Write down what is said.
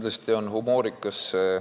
Aitäh!